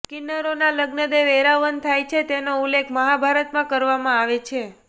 કિન્નરોના લગ્ન દેવ એરાવન થાય છે તેનો ઉલ્લેખ મહાભારતમાં કરવામાં આવે છે